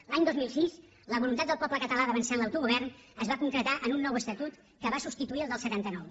l’any dos mil sis la voluntat del poble català d’avançar en l’autogovern es va concretar en un nou estatut que va substituir el del setanta nou